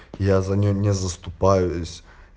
я за него не заступаюсь